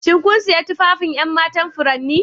Shin kun sayi tufafin 'yan matan furanni?